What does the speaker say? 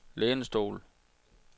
lænestol